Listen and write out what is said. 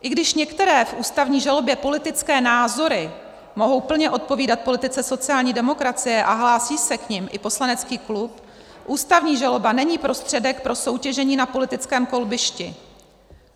I když některé v ústavní žalobě politické názory mohou plně odpovídat politice sociální demokracie a hlásí se k nim i poslanecký klub, ústavní žaloba není prostředek pro soutěžení na politickém kolbišti.